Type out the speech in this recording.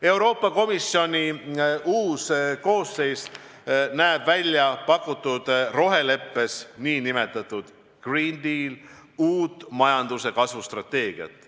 Euroopa Komisjoni uus koosseis näeb väljapakutud nn roheleppes uut majanduse kasvustrateegiat.